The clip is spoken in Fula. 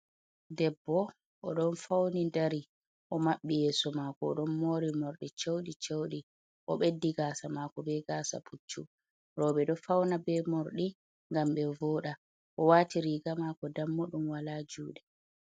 Debbo oɗon fauni dari o maɓɓi yeeso mako o ɗon mori mordi ceuɗi cewɗi o beɗɗi gasa mako be gasa puccu, roɓɓe ɗo fauna be morɗi gam ɓe voɗa o wati riga mako dammuɗum wala juɗe.